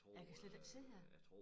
Jeg kan slet ikke se det